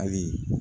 Ayi